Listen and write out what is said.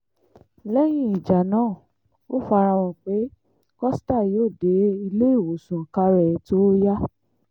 lẹ́yìn ìjà náà ó fara hàn pé costa yóò dé iléewòsàn kára ẹ̀ tóó yá